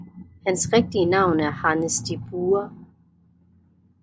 Hans rigtige navn er Hannes De Buhre